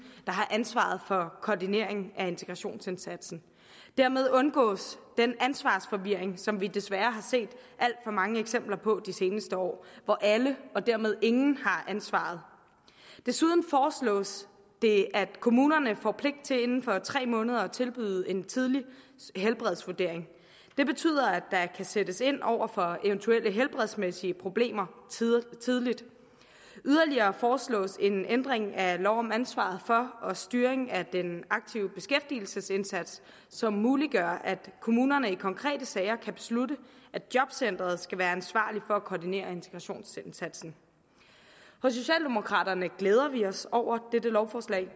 har ansvaret for koordinering af integrationsindsatsen dermed undgås den ansvarsforvirring som vi desværre har set alt for mange eksempler på de seneste år hvor alle og dermed ingen har ansvaret desuden foreslås det at kommunerne får pligt til inden for tre måneder at tilbyde en tidlig helbredsvurdering det betyder at der kan sættes ind over for eventuelle helbredsmæssige problemer tidligt yderligere foreslås en ændring af lov om ansvaret for og styringen af den aktive beskæftigelsesindsats som muliggør at kommunerne i konkrete sager kan beslutte at jobcenteret skal være ansvarlig for at koordinere integrationsindsatsen hos socialdemokraterne glæder vi os over dette lovforslag